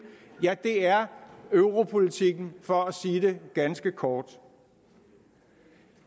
ja det er europolitikken for at sige det ganske kort